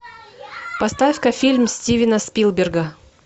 поставь ка фильм стивена спилберга